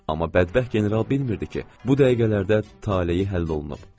Amma bədbəxt general bilmirdi ki, bu dəqiqələrdə taleyi həll olunub.